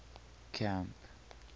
camp